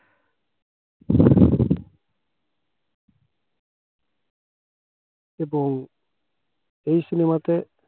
এবং এই cinema তে